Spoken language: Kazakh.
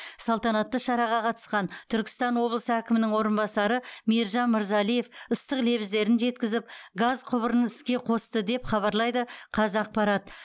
салтанатты шараға қатысқан түркістан облысы әкімінің орынбасары мейіржан мырзалиев ыстық лебіздерін жеткізіп газ құбырын іске қосты деп хабарлайды қазақпарат